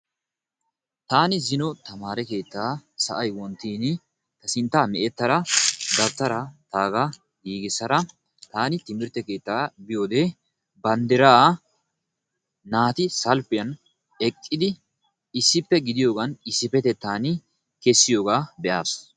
Tani ziino tamaree keetta wonttini sintta me'ettaga dawuttara gigisada tani timirtte keetta biyode banddira naati salppiyan eqqidi issippe gidiyogan issipetettani keesiyoga beasi.